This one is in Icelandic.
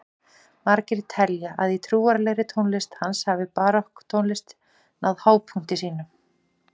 Margir telja að í trúarlegri tónlist hans hafi barokktónlist náð hápunkti sínum.